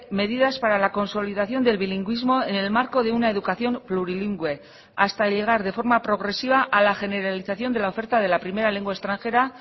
medidas para la consolidación del bilingüismo en el marco de una educación plurilingüe hasta llegar de forma progresiva a la generalización de la oferta de la primera lengua extranjera